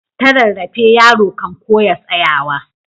Ta rarrafe yaro kan koya tsayawa.